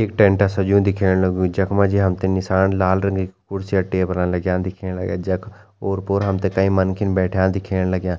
एक टेंट सज्यूं दिखेण लग्यूं जखमा जी हमतें निसान लाल रंगा कि कुर्सी अ टेबला लग्यां दिखेण लग्यां जख ओर-पोर हमतें कई मनखिन बैठ्यां दिखेण लग्यां।